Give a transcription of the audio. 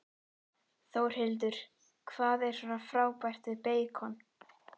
Þórhildur: Hvað er svona frábært við beikon?